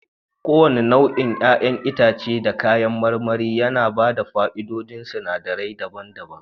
Kowane nau'in 'ya'yan itace da kayan marmari yana ba da fa'idodin sinadirai daban-daban